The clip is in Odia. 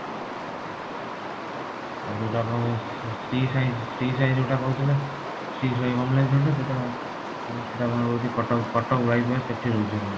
ଆଉ ଯୋଊଟା ଆପଣଙ୍କର ଶ୍ରୀ ସାଇ ଶ୍ରୀ ସାଇ ଯୋଊଟା କହୁଥିଲେ ଶ୍ରୀ ସାଇ home lines ଯୋଊଟା ସେଟା କଣ ରହୁଛି କଟକ କଟକ bypass ସେଠି ରହୁଛି ଆପଣଙ୍କର